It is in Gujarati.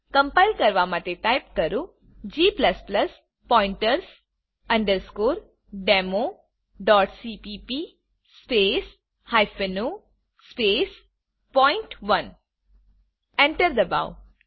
કમ્પાઈલ કરવા માટે ટાઇપ કરો g pointers democpp o પોઇન્ટ1 એન્ટર ડબાઓ